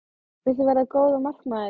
Viltu verða góður markmaður?